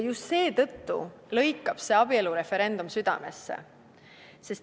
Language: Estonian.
Just seetõttu lõikab see abielureferendum südamesse.